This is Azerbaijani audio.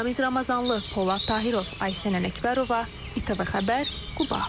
Ramiz Ramazanlı, Polad Tahırov, Aysən Ələkbərova, İTV xəbər, Quba.